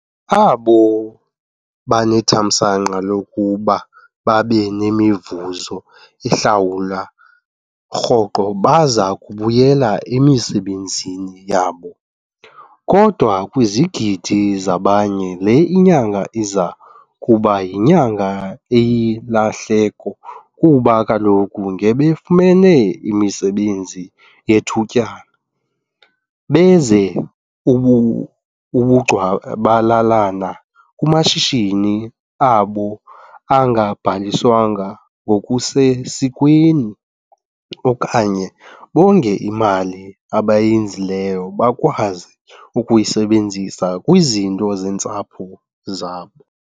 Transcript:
Abo banethamsanqa lokuba babe nemivuzo ehlawulwa rhoqo baza kubuyela emisebenzini yabo, kodwa kwizigidi zabanye le inyanga iza kuba yinyanga eyilahleko kuba kaloku ngebefumene imisebenzi yethutyana, benze ubugcwabalalana kumashishini abo angabhaliswanga ngokusesikweni okanye bonge imali abayenzileyo bakwazi ukuyisebenzisa kwizinto zeentsapho zabo.